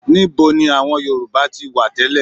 Níbo ni àwọn Yorùbá ti wá tẹ́lẹ̀?